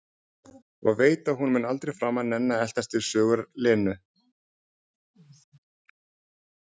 Og veit að hún mun aldrei framar nenna að eltast við sögur Lenu.